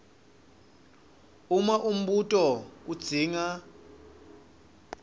uma umbuto udzinga